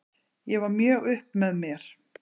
Ég var mjög upp með mér.